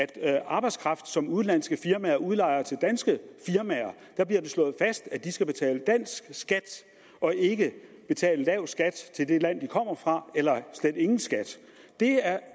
at arbejdskraft som udenlandske firmaer udlejer til danske firmaer skal betale dansk skat og ikke betale lav skat til det land de kommer fra eller slet ingen skat